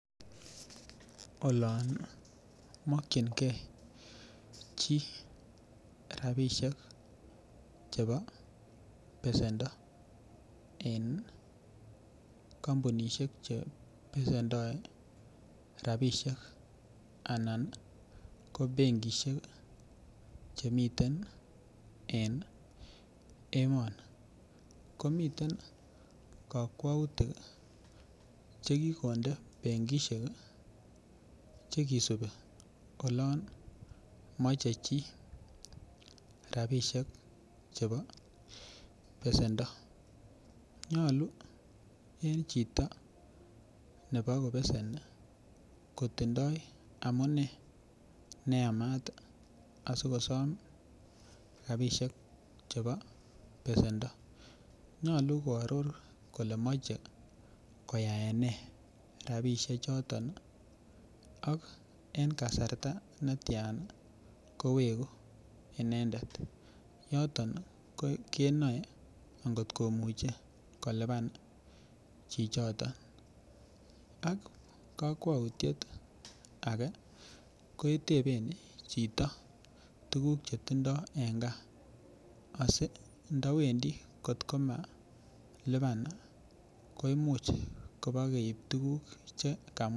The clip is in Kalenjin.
Olon mokchingei chi rapishek chebo besendo en kampunishek che besendoi rapishek anan ko benkishek chemiten en emoni komiten kakwoutik chekikonde benkishek chekisubi olon mochei chi rapishek chebo besendo nyolu en chito nepakobeseni kotindoi amune neyamat asikosom rapishek chebo besendo nyolu koaror kole mochei koaene rapishe choton ak eng' kasarta netyan koweku inendet yoton keboei ngotkomuchei kolipan chichito ak kakwoutiet age keteben chito tukuk chetindoi en ngaa asi ndawendi atkomalipan ko imuch pakeip tukuk chekamwa